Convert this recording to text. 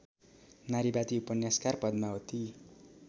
नारीवादी उपन्यासकार पद्मावती